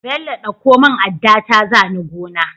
Bello ɗauko mun adda ta zani gona